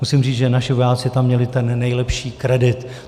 Musím říci, že naši vojáci tam měli ten nejlepší kredit.